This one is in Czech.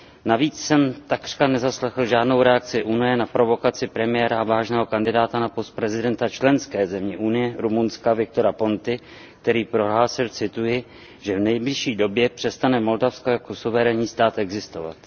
Navíc jsem takřka nezaslechl žádnou reakci Unie na provokaci premiéra a vážného kandidáta na post prezidenta členské země Unie, Rumunska, Victora Ponty, který prohlásil, že v nejbližší době přestane Moldavsko jako suverénní stát existovat.